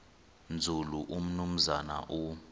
nzulu umnumzana u